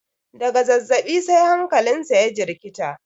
daga zazzabi sai hankalinsa ya jirkita